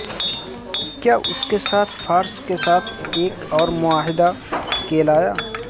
کیا اس کے ساتھ فارس کے ساتھ ایک اور معاہدہ کے لایا